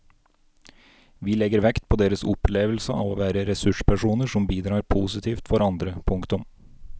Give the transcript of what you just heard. Vi legger vekt på deres opplevelse av å være ressurspersoner som bidrar positivt for andre. punktum